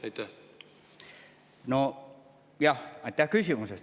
Aitäh küsimuse eest!